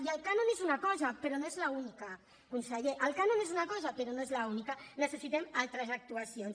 i el cànon és una cosa però no és l’única conseller el cànon és una cosa però no és l’única necessitem altres actuacions